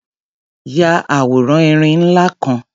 Ya àwòrán erin ńlá kan.